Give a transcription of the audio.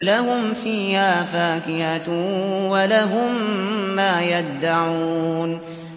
لَهُمْ فِيهَا فَاكِهَةٌ وَلَهُم مَّا يَدَّعُونَ